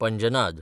पंजनाद